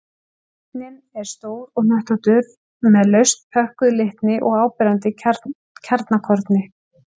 Kjarninn er stór og hnöttóttur með laust pökkuðu litni og áberandi kjarnakorni.